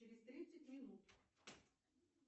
через тридцать минут